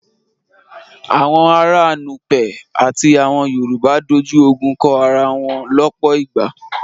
Àwọn ará Nupe àti àwọn Yorùbá dojú ogun kọ ara wọn lọ́pọ̀ ìgbà.